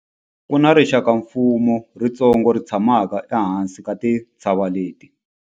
Ku na rixakamfuwo ritsongo ri tshamaka ehansi ka tintshava leti.